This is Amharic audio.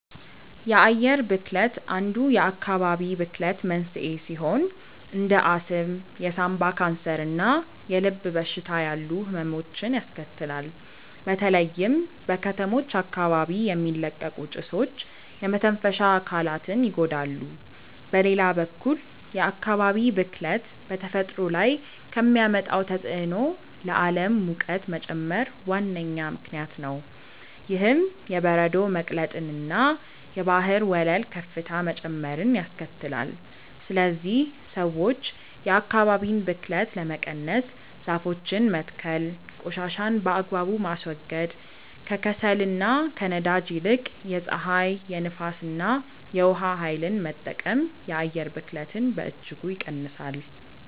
የአየር ብክለት አንዱ የአካባቢ ብክለት መንስኤ ሲሆን እንደ አስም፣ የሳምባ ካንሰር እና የልብ በሽታ ያሉ ህመሞችን ያስከትላል። በተለይም በከተሞች አካባቢ የሚለቀቁ ጭሶች የመተንፈሻ አካላትን ይጎዳሉ። በሌላ በኩል የአካባቢ ብክለት በተፈጥሮ ላይ ከሚያመጣው ተጽዕኖ ለዓለም ሙቀት መጨመር ዋነኛ ምክንያት ነው። ይህም የበረዶ መቅለጥንና የባህር ወለል ከፍታ መጨመርን ያስከትላል። ስለዚህ ሰዎች የአካባቢን ብክለት ለመቀነስ ዛፎችን መትከል ቆሻሻን በአግባቡ ማስወገድ፣ ከከሰልና ከነዳጅ ይልቅ የፀሐይ፣ የንፋስ እና የውሃ ኃይልን መጠቀም የአየር ብክለትን በእጅጉ ይቀንሳል።